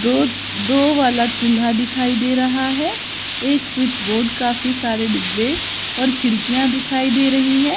दो दो वाला चूल्हा दिखाई दे रहा है एक स्विच बोर्ड काफी सारे डिब्बे और खिड़कियां दिखाई दे रही है।